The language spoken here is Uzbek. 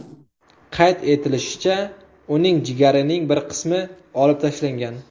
Qayd etilishicha, uning jigarining bir qismi olib tashlangan.